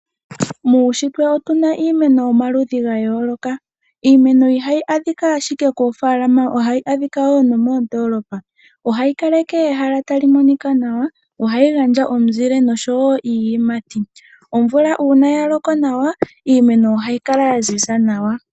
Muushitwe otuna iimeno yomaludhi ga yooloka. Iimeno ihayi adhika ashike koofaalama , ohayi kala wo nomoondoolopa. Ohayi kaleke ehala tali monika nawa, ohayi gandja omuzile osho wo iiyimati. Omvula uuna ya loko nawa, iimeno ohayi kala ya ziza nawa.